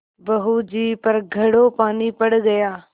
बहू जी पर घड़ों पानी पड़ गया